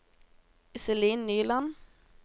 Iselin Nyland